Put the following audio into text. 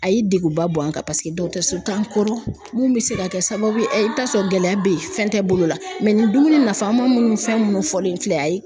A ye degunba bɔ an kan paseke dɔgɔtɔrɔso tan kɔrɔ mun be se ka kɛ sababu ye i bi t'a sɔrɔ gɛlɛya be yen fɛn tɛ bolo la nin dumuni nafa ma munnu fɛn munnu fɔlen filɛ a ye